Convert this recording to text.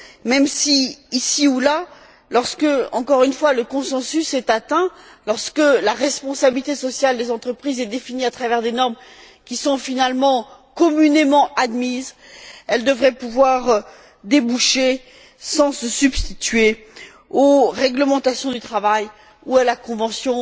même si, ici ou là, lorsque, encore une fois, le consensus est atteint, lorsque la responsabilité sociale des entreprises est définie à travers des normes qui sont finalement communément admises, elle devrait pouvoir aboutir sans se substituer aux réglementations du travail ou à la convention